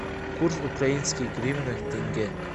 курс украинской гривны тенге